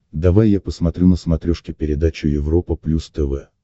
давай я посмотрю на смотрешке передачу европа плюс тв